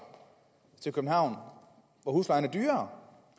til københavn hvor huslejen er dyrere